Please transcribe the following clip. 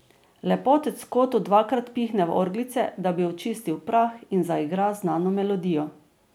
Lepotec v kotu dvakrat pihne v orglice, da bi očistil prah in zaigra znano melodijo.